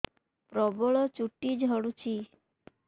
ପ୍ରବଳ ଚୁଟି ଝଡୁଛି